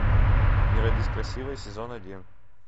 не родись красивой сезон один